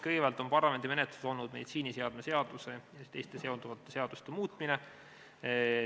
Kõigepealt oli parlamendi menetluses meditsiiniseadme seaduse ja teiste seonduvate seaduste muutmine.